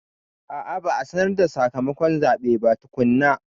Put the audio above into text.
A a, ba a sanar da sakamakon zaɓen ba tukunna.